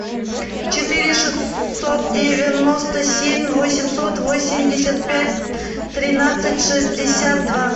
четыре шестьсот девяносто семь восемьсот восемьдесят пять тринадцать шестьдесят два